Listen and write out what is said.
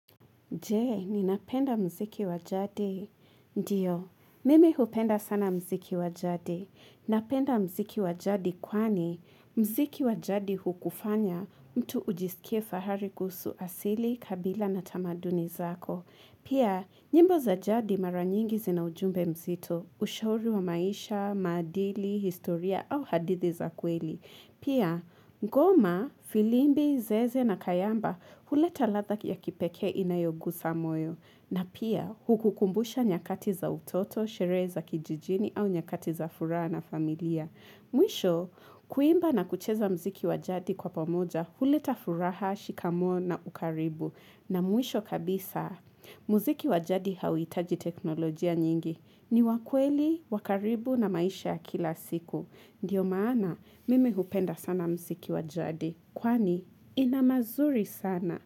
Jee, ninapenda mziki wa jadi. Ndiyo, mimi upenda sana mziki wa jadi. Napenda mziki wa jadi kwani mziki wa jadi hukufanya mtu ujisikie fahari kuhusu asili, kabila na tamaduni zako. Pia, nyimbo za jadi mara nyingi zina ujumbe mzito, ushauri wa maisha, maadili, historia au hadithi za kweli. Pia, ngoma, filimbi, zeze na kayamba uleta latha ya kipekee inayogusa moyo. Na pia, hukukumbusha nyakati za utoto, sherehe za kijijini au nyakati za furaha na familia. Mwisho, kuimba na kucheza mziki wa jadi kwa pomoja huleta furaha, shikamoo na ukaribu. Na mwisho kabisa, mziki wa jadi hawitaji teknolojia nyingi. Ni wa kweli, wa karibu na maisha ya kila siku. Ndiyo maana mimi upenda sana mziki wa jadi, kwani ina mazuri sana.